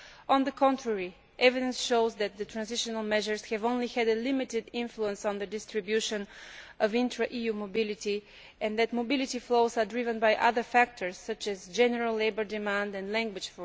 On the contrary, evidence shows that the transitional measures have only had a limited influence on the distribution of intra EU mobility, and that mobility flows are driven by other factors, such as general labour demand and language.